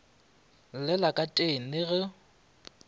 llela ka teng le go